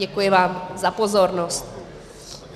Děkuji vám za pozornost.